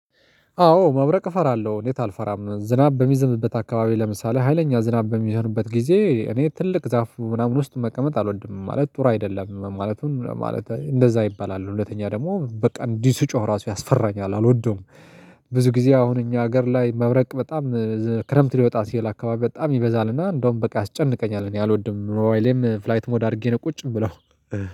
አዎ መብረቅ እፈራለሁ። እንዴት አልፈራም? ዝናብ በሚዘንብበት አካባቢ ለምሳሌ ሀይለኛ ዝናብ በሚሆንበት ጊዜ እኔ ትልቅ ዛፍ ምናምን ውስጥ መቀመጥ አልወድም። ማለት ጥሩ አይደለም ማለትም ማለት እንደዛ ይባላል ሁለተኛ ደግሞ በቃ እንዲሁ ሲጮህ ራሱ ያስፈራኛል አልወደውም። ብዙ ጊዜ አሁን እኛ ሀገር ላይ መብረቅ በጣም ክረምት ሊወጣ ሲል አካባቢ በጣም ይበዛልና እንደውም በቃ ያስጨንቀኛል እኔ አልወድም። ሞባይሌም ፍላይት ሞድ አድርጌ ነው። ቁጭ ምለው